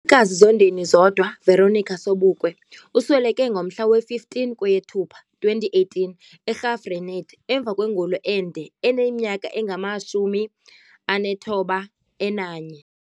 kazi Zondeni Zodwa Veronica Sobukwe usweleke ngomhla we 15 kweyeThupa 2018 eGraaf Reinet emva kwengulo ende eneminyaka engama-91.